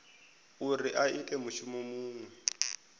uri a ite mushumo muṅwe